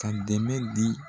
Ka dɛmɛ di.